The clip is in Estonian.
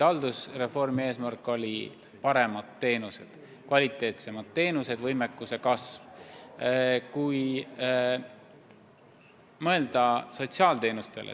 Haldusreformi eesmärk olid paremad teenused, kvaliteetsemad teenused, võimekuse kasv.